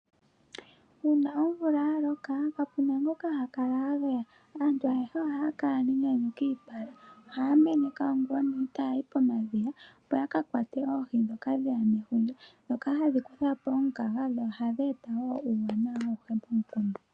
Uuna omvula ya loka, kapu na ngoka ha kala a geya. Aantu ayehe ohaya kala nenyanyu kiipala. Ohaya meneka ongula onene taya yi pomadhiya, opo yakakwate oohi ndhoka dheya nefundja. Ndhoka hadhi kutha po omukaga dho ohadhi eta wo uuwanawa awuhe pomukunda.